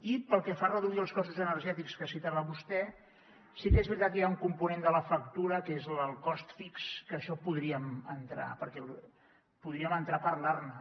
i pel que fa a reduir els costos energètics que citava vostè sí que és veritat que hi ha un component de la factura que és el cost fix que d’això podríem entrar a parlar ne